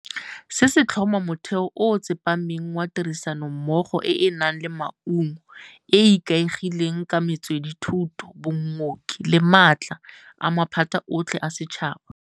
Se se tlhoma motheo o o tsepameng wa tirisanommogo e e nang le maungo, e e ikaegileng ka metswedithuso, bokgoni le maatla a maphata otlhe a setšhaba.